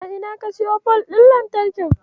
A ina ka siyo fol ɗin lantarkin?